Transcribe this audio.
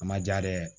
A ma ja dɛ